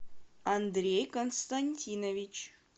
андрей константинович